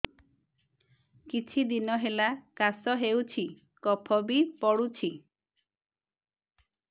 କିଛି ଦିନହେଲା କାଶ ହେଉଛି କଫ ବି ପଡୁଛି